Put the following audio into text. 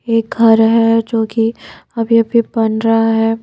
एक घर है जोकि अभी-अभी बन रहा है।